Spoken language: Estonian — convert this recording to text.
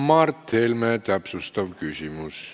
Mart Helme, täpsustav küsimus.